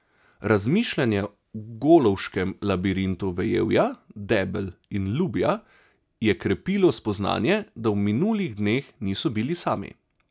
Razmišljanje v golovškem labirintu vejevja, debel in lubja je krepilo spoznanje, da v minulih dneh niso bili sami.